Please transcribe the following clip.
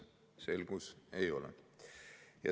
Selgus, et ei ole.